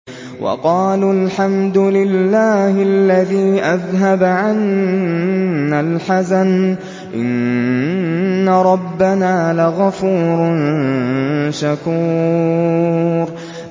وَقَالُوا الْحَمْدُ لِلَّهِ الَّذِي أَذْهَبَ عَنَّا الْحَزَنَ ۖ إِنَّ رَبَّنَا لَغَفُورٌ شَكُورٌ